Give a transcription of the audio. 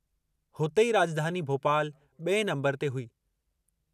हुते ई राॼधानी भोपालु बि॒ए नंबरु ते हुई।